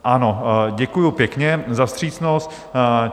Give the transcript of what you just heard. Ano, děkuji pěkně za vstřícnost.